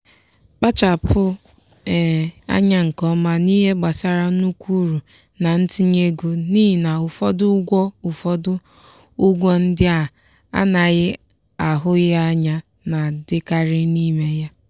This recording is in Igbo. kpachapụ anya nke ọma n'ihe gbasara nnukwu uru na ntinye ego n'ihi na ụfọdụ ụgwọ ụfọdụ ụgwọ ndị a na-ahụghị anya na-adịkarị n'ime ya.